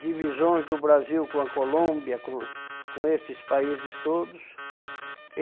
divisões do Brasil com a Colômbia, com com estes países todos.